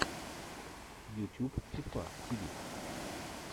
ютюб фифа ти ви